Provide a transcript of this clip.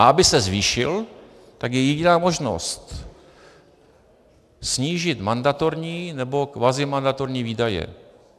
A aby se zvýšil, tak je jediná možnost - snížit mandatorní nebo kvazimandatorní výdaje.